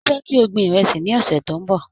Mo fẹ́ kí a gbin ìrẹsì ní ọ̀sẹ̀ tó ń bọ̀.